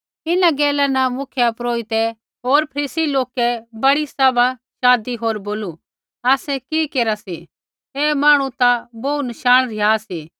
इन्हां गैला न मुख्यपुरोहिते होर फरीसियै लोकै बड़ी सभा शाधी होर बोलू आसै कि केरा सी ऐ मांहणु ता बोहू नशाण रिहा सा